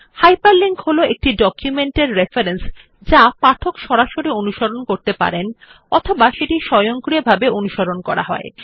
hyperlink হল একটি document এর রেফারেন্স যা পাঠক সরাসরি অনুসরণ করতে পারেন অথবা যেটি স্বয়ংক্রিয়ভাবে অনুসরণ করা হয়